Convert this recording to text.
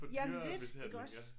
Jamen lidt iggås